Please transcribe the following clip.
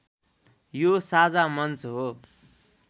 यो साझा मञ्च हो